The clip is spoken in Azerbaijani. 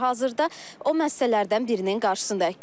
Hazırda o məssələrdən birinin qarşısındayıq.